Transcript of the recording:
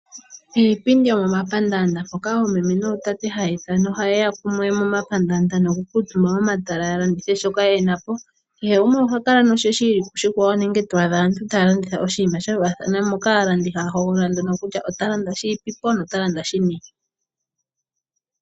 Iipindi yomomapaandaanda, mpoka oomeme nootate haya ya kumwe momapandaanda nokukuutumba momatala ya landithe shono ye na po. Kehe gumwe oha kala noshe shi ili koshikwawo nenge to adha aantu taya landitha oshinima sha faathana. Aalandi ohaya hogolola nduno kutya ota landa shi ipipo nota landa shini.